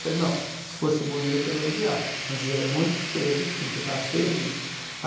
Falei, não, se fosse bonito, eu ia elogiar, mas é muito feia a vitrine, porque estava feia mesmo.